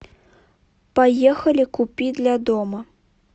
поехали купи для дома